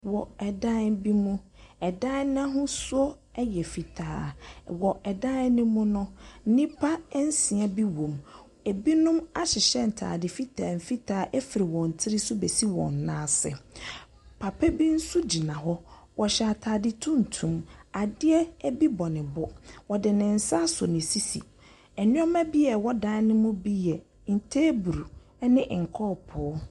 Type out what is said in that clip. Wɔ ɛdan bi mu, ɛdan n'ahosuo ɛyɛ fitaa. Wɔ ɛdan no mu no, nnipa nsia bi wom. Ebinom ahyehyɛ ntaade fitaa fitaa fi wɔn tiri so besi wɔn nan ase. Papa bi nso gyina hɔ, ɔhyɛ ataade tuntum. Adeɛ bi bɔ ne bo, ɔde ne nsa asɔ ne sisi. Nneɛma bi a ɛwɔ dan mu bi yɛ teebol ɛne kɔpo.